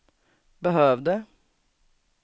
behövde